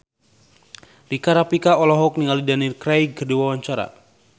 Rika Rafika olohok ningali Daniel Craig keur diwawancara